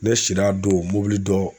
Ne sira don dɔ.